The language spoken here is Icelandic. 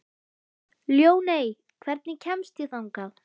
Ljóney, hvernig kemst ég þangað?